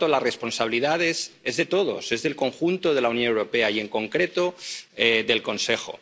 Por tanto, la responsabilidad es de todos, es del conjunto de la Unión Europea y, en concreto, del Consejo.